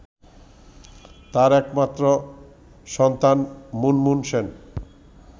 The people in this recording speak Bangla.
তার একমাত্র সন্তান মুনমুন সেন